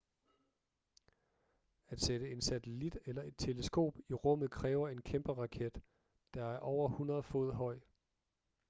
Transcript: at sætte en satellit eller et teleskop i rummet kræver en kæmpe raket der er over 100 fod høj